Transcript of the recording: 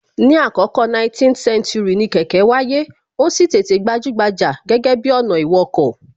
Ní àkọkọ 19th century, ni kẹ̀kẹ́ wáyé, ó sì tètè gbajúgbajà gẹ́gẹ́ bi ọ̀nà ìwọkọ̀